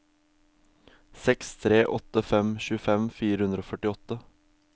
seks tre åtte fem tjuefem fire hundre og førtiåtte